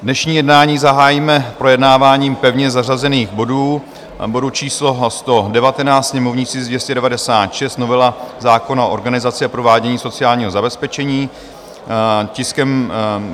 Dnešní jednání zahájíme projednáváním pevně zařazených bodů: bodu číslo 119, sněmovní tisk 296, novela zákona o organizaci a provádění sociálního zabezpečení;